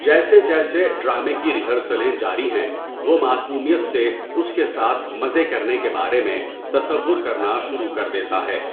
جیسے جیسے ڈرامے کی ریہرسلیں جاری ہیں، وہ معصومیت سے اس کے ساتھ مزے کرنے کے بارے میں تصور کرنا شروع کر دیتا ہے۔